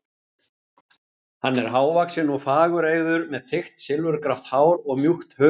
Hann er hávaxinn og fagureygður, með þykkt silfurgrátt hár og mjúkt hörund.